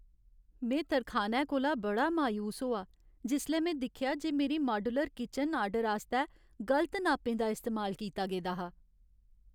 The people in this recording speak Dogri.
में तरखाने कोला बड़ा मायूस होआ जिसलै में दिक्खेआ जे मेरी माड्यूलर किचन आर्डर आस्तै गलत नापें दा इस्तेमाल कीता गेदा हा ।